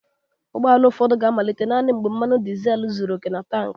Ụgbọ ala ụfọdụ ga-amalite naanị mgbe mmanụ dizel zuru oke na tankị